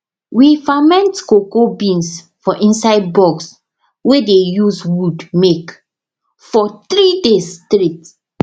we ferment cocoa beans for inside box wey dey use wood make for three days straight